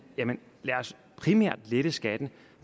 lad os primært lette skatten